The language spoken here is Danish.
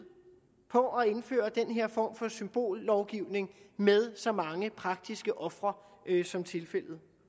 på at indføre den her form for symbollovgivning med så mange praktiske ofre som tilfældet